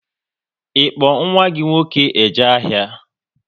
Ị kpo nwa gị nwoke eje ahịa?